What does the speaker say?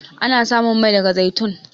Ana samun Mai daga zaitun.